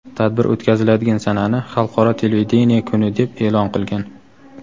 tadbir o‘tkaziladigan sanani Xalqaro televideniye kuni deb eʼlon qilgan.